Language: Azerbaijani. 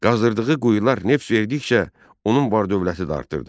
Qazdırdığı quyular neft verdikcə, onun var-dövləti də artırdı.